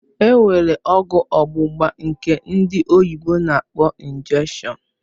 Enwere ọgwụ ọgbugba nke ndị oyibo na -akpọ "injection"